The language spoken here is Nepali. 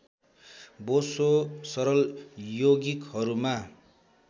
बोसो सरल यौगिकहरूमा